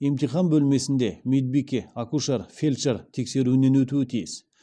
емтихан бөлмесінде медбике акушер фельдшер тексеруінен өтуі тиіс